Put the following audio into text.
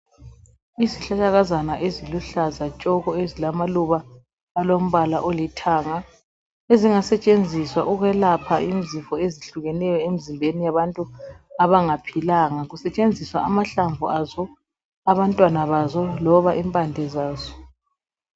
Izihlahlakazana eziluhlaza tshoko ezilamaluba alombala olithanga ezingasetshenziswa ukwelapha izifo ezihlukileyo emzimbeni yabantu abangaphilanga kusetshenziswa amahlamvu azo, abantwana bazo loba impande zazo.